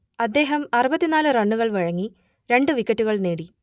അദ്ദേഹം അറുപത്തി നാല് റണ്ണുകൾ വഴങ്ങി രണ്ട് വിക്കറ്റുകൾ നേടി